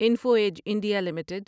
info edge India limited